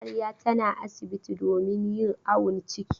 Amarya tana asibti domin yin awon ciki.